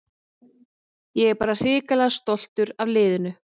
Ég er bara hrikalega stoltur af liðinu.